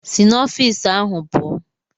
Si n'ọfịs ahụ pụọ!